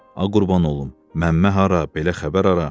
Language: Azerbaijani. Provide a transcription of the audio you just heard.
A qurban olum, məmmə hara, belə xəbər hara?